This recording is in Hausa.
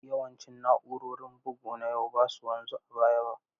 Yawancin na'urorin bugu na yau ba su wanzu a baya ba.